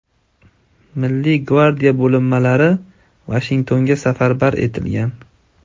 Milliy gvardiya bo‘linmalari Vashingtonga safarbar etilgan.